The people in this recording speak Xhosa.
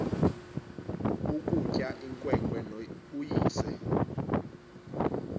ukutya inkwenkwe uyise